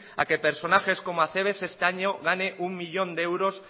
a que personajes como acebes este año gane uno millón de euros